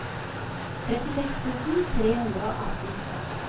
trettiseks tusen tre hundre og atten